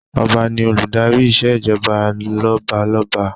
Ọba ni Olùdarí ìṣèjọba lọ́balọ́ba